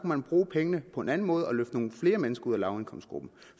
man bruge pengene på en anden måde og løfte nogle flere mennesker ud af lavindkomstgruppen